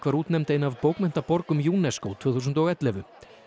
útnefnd ein af UNESCO tvö þúsund og ellefu